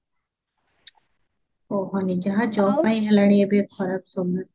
କାହାଣୀ ଯାହା job ପାଇଁ ହେଲାଣି ଏବେ ଖରାପ ସମୟ